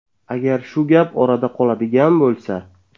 Agar shu gap orada qoladigan bo‘lsa.